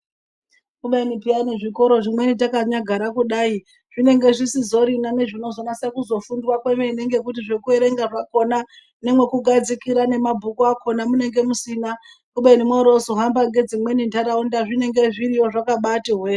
Kubeni peyani zvikora zvimweni takanyagara kudai zvinenge zvisizorina nezVinozonase kufundwa kwemene ngekuti zvekuerenga zvakhona nemwekugadzikire mabhuku akhona munenge musina ubeni mworozohamba ngedzimweni ntaraund a zvinenge zviriyo zvakabati hwee.